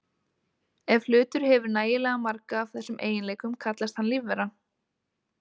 Ef hlutur hefur nægilega marga af þessum eiginleikum kallast hann lífvera.